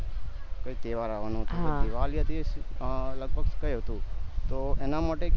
કોઈ તહેવાર આવાનો હતો અ લગભગ કૈક હતું તો એના માટે